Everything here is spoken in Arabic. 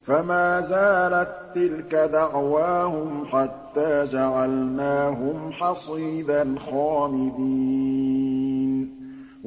فَمَا زَالَت تِّلْكَ دَعْوَاهُمْ حَتَّىٰ جَعَلْنَاهُمْ حَصِيدًا خَامِدِينَ